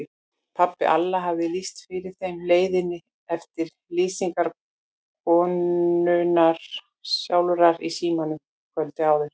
Pabbi Alla hafði lýst fyrir þeim leiðinni eftir lýsingu konunnar sjálfrar í símanum kvöldið áður.